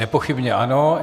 Nepochybně ano.